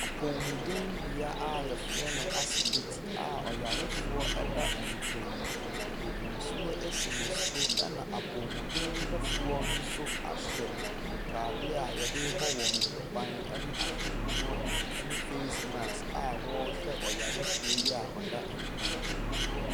Apɔmudenbea a wɔfrɛ no asopiti a ɔyarefoɔ da mpam. Wɔde nsuo asi ne so, ɛna apɔmuden hwɛfoɔ no nso ahyɛ ntadeɛ a wɔde rebɔ wɔn ho ban ne ahwehwɛniwa ne face mask a wɔrehwɛ ɔyarefoɔ yi a ɔda mpa mu yi.